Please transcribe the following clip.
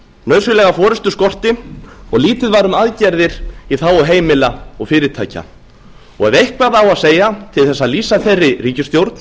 nauðsynlega forustu skorti og lítið var um aðgerðir í þágu heimila og fyrirtækja ef eitthvað á að segja til þess að lýsa þeirri ríkisstjórn